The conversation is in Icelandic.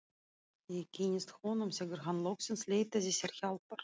Ég kynntist honum þegar hann loksins leitaði sér hjálpar.